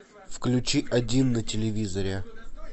включи один на телевизоре